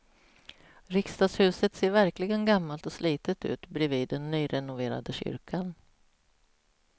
Riksdagshuset ser verkligen gammalt och slitet ut bredvid den nyrenoverade kyrkan.